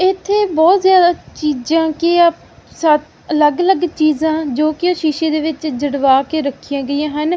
ਇੱਥੇ ਬਹੁਤ ਜਿਆਦਾ ਚੀਜਾਂ ਕਿ ਆਹ ਸੱਤ ਅਲੱਗ-ਅਲੱਗ ਚੀਜਾਂ ਜੋ ਕਿ ਸ਼ੀਸ਼ੇ ਦੇ ਵਿੱਚ ਜੜਵਾ ਕੇ ਰੱਖੀਆਂ ਗਈਆਂ ਹਨ।